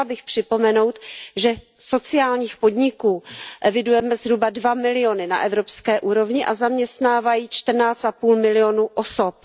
Chtěla bych připomenout, že sociálních podniků evidujeme zhruba 2 miliony na evropské úrovni a zaměstnávají 14,5 milionu osob.